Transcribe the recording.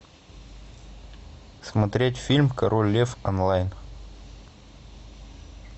смотреть фильм король лев онлайн